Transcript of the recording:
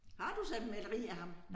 Har du så et maleri af ham